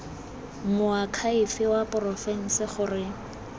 moakhaefe wa porofense gore go